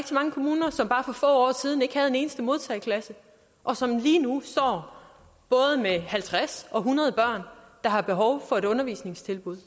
mange kommuner som bare for få år siden ikke havde en eneste modtageklasse og som lige nu står både med halvtreds og hundrede børn der har behov for et undervisningstilbud